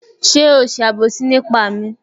Ṣé o ṣe àbòsí nípa mi?